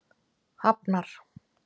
Hafnar